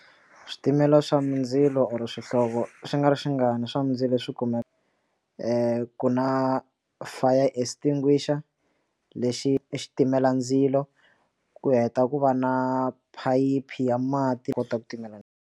Switimela swa mindzilo or swihlovo swi nga ri xinga ni swa mindzilo leswi kumeka ku na fire extinguisher lexi xitimela ndzilo ku heta ku va na phayiphi ya mati kota ku timela ndzilo.